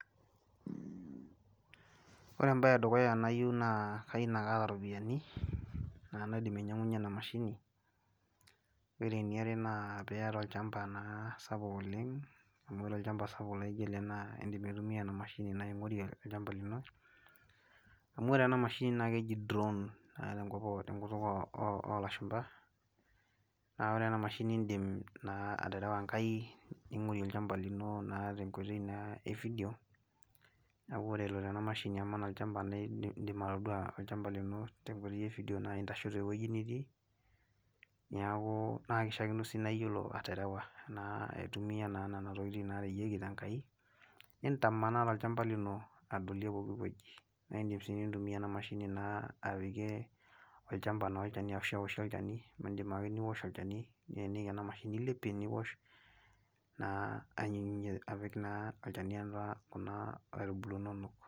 Ore embae edukuya nayieu, naa Kayieu naa kaata iropiyiani naidim ainyiangunye ena mashini ore eniare naa pee iyata olchampa naa sapuk oleng, amu ore olchampa sapuk laijo ele naa peetumi ena mashini ningorie olchampa lino. amu ore ena mashini, naa keji drown tenkutuk oolashumpa naa ore ena mashini idim naa aterewa Enkai, ningorie olchampa lino tenkoitoi naa.e fidio neku ore eloito ena mashini aman olchampa neeku idim atodua olchampa lino tenkoitoi efideo olchampa naaji kitii. niaku naa kishaakino sii neeku iyiolo aterewa aitumia na Nena tokitin naareyieki te nkai,. Nintamanaa tolchampa lino, naa idim naa nintumia ena mashini aoshi olchani , idim ake niosh olchani nilepie niosh naa apik naa olchani atua Kuna aitubulu inonok.